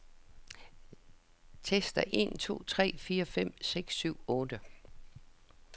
Tester en to tre fire fem seks syv otte.